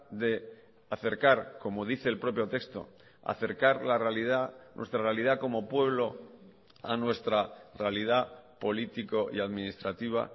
de acercar como dice el propio texto acercar la realidad nuestra realidad como pueblo a nuestra realidad político y administrativa